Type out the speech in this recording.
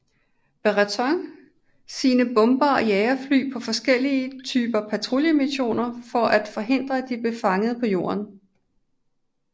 Brereton sine bombere og jagerfly på forskellige typer patruljemissioner for at forhindre at de blev fanget på jorden